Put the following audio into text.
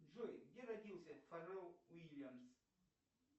джой где родился фаррелл уильямс